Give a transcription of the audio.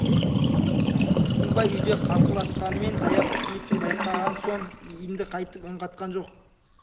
үркімбай үйде қарсыласқанмен таяқ тиетінін байқаған соң енді қайтып үн қатқан жоқ